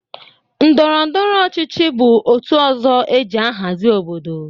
Ndọrọndọrọ ọchịchị bụ otu ọzọ e ji ahazị obodo.